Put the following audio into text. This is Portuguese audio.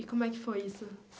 E como é que foi isso?